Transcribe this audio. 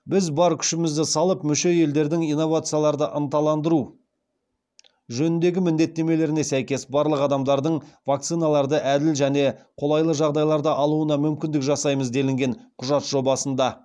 біз бар күшімізді салып мүше елдердің инновацияларды ынталандыру жөніндегі міндеттемелеріне сәйкес барлық адамдардың вакциналарды әділ және қолайлы жағдайларда алуына мүмкіндік жасаймыз делінген құжат жобасында